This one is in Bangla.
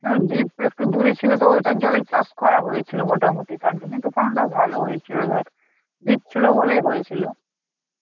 হ্যাঁ deep একটু দূরে ছিল তো ওইটার জলেই চাষ করা হয়েছিল মোটামুটি তার জন্যই তো পালনটা ভালো হয়েছিল ধর, deep ছিল বলেই হয়েছিল.